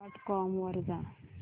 dot com वर जा